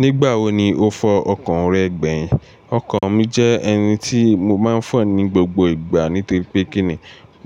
Nígbà wo ni o fọ ọkàn rẹ gbẹ̀yìn? Ọkọ mi jẹ́ ẹni tí mo máa ń fọ̀ ní gbogbo ìgbà nítorí pé kíni